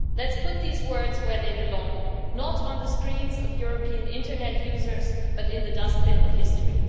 Let's put these words where they belong, not on the screens of European internet users, but in the dustbin of history.